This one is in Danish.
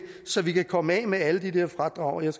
så vi kan komme af med alle de der fradrag og jeg